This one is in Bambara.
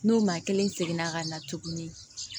N'o maa kelen seginna ka na tuguni